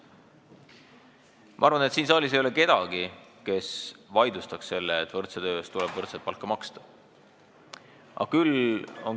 Ma arvan, et siin saalis ei ole kedagi, kes vaidlustaks selle, et võrdse töö eest tuleb võrdset palka maksta.